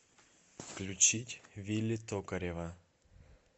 включить вилли токарева